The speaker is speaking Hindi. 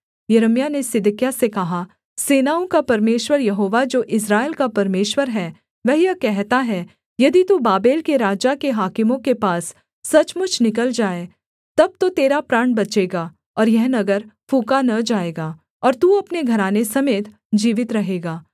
यिर्मयाह ने सिदकिय्याह से कहा सेनाओं का परमेश्वर यहोवा जो इस्राएल का परमेश्वर है वह यह कहता है यदि तू बाबेल के राजा के हाकिमों के पास सचमुच निकल जाए तब तो तेरा प्राण बचेगा और यह नगर फूँका न जाएगा और तू अपने घराने समेत जीवित रहेगा